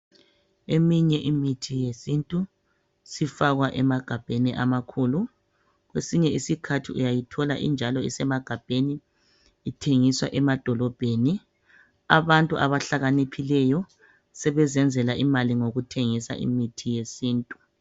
Eminye imithi yesintu sifakwa emagabheni amakhulu. Kwesinye isikhathi uyayithola injalo isemagabheni, ithengiswa emadolobheni. Abantu abahlakaniphileyo sebezenzela imali ngokuthengisa imithi yesintu.